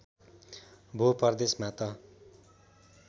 भो परदेशमा त